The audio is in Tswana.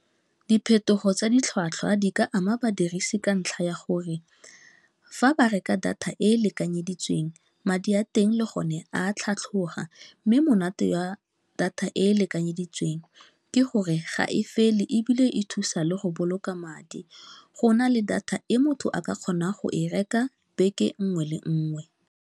Diphetogo tsa ditlhwatlhwa di ka ama badirisi ka ntlha ya gore fa ba reka data e e lekanyeditsweng madi a teng le gone a tlhatlhoga mme monate wa data e e lekanyeditsweng ke gore ga e fele ebile e thusa le go boloka madi go na le data e motho a ka kgonang go e reka beke nngwe le nngwe.